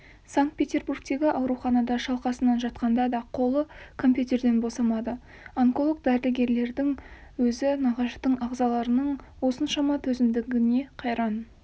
санкт-петербургтегі ауруханада шалқасынан жатқанда да қолы компьютерден босамады онколог дәрігерлердің өзі нағаштың ағзаларының осыншама төзімділігіне қайран